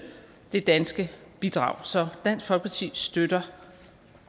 det danske bidrag så dansk folkeparti støtter